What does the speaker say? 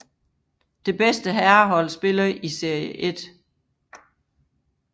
Det bedste herrehold spiller i serie 1